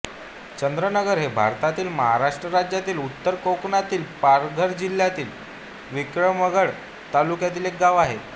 चंद्रनगर हे भारतातील महाराष्ट्र राज्यातील उत्तर कोकणातील पालघर जिल्ह्यातील विक्रमगड तालुक्यातील एक गाव आहे